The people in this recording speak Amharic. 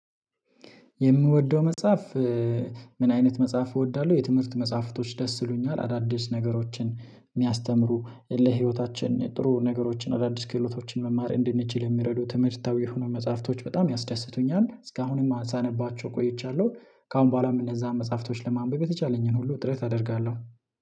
የምወደው መጽሐፍ? ምን አይነት መጽሐፍ እወዳለሁ የትምህርት መጽሐፍቶች ደስ ይሉኛል አዳዲስ ነገሮችን የሚያስተምሩ ለህይወታችን ጥሩ ነገሮችን አዳዲስ ክህሎቶችን መማር እንድንችል የሚረዱ ትምህርታዊ የሆኑ መጽሐፍቶች በጣም ያስደስቱኛል እስካሁንም አንሳንባቸው ቆይቻለሁ። ከአሁን በኋላም እነዛን መጽሐፍቶች ለማንበብ የተቻለኝን ሁሉ ጥረት አደርጋለሁ